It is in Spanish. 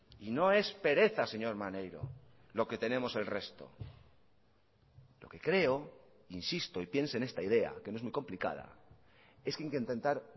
y no es pereza señor maneiro lo que tenemos el resto lo que creo insisto y piense en esta idea que no es muy complicada es que hay que intentar